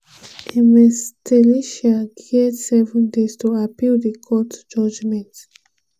ms thalisa get seven days to appeal di court judgement.